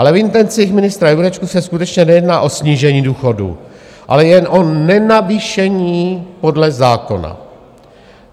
Ale v intencích ministra Jurečky se skutečně nejedná o snížení důchodů, ale jen o nenavýšení podle zákona.